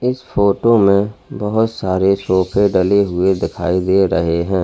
इस फोटो में बहोत सारे सोफे डले हुए दिखाई दे रहे हैं।